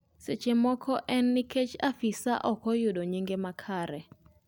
seche moko en nikech afisa ok oyudo nyinge makare